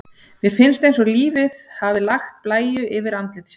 Mér finnst eins og lífið hafi lagt blæju yfir andlit sitt.